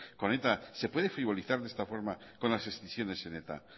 con eta se puede frivolizar de esta forma con las escisiones en eta